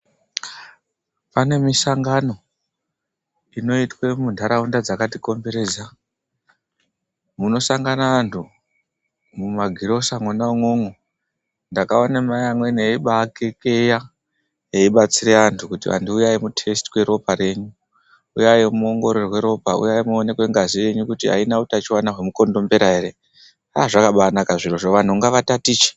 Pane misangano inoitwe muntaraunda dzakatikomberedza. Munosangana antu, mumagirosa mwona umwomwo ndakaona mai amweni aibaakekeya, eibatsire antu kuti antu uyai mutesitwe ropa renyu, muongororwe ropa. Uyai muongororwe ropa, uyai muonekwe ngazi yenyu kuti aina utachiwana hwemukondombera ere. Aaa zvakabaanaka zvirozvo, vantu ngavatatiche.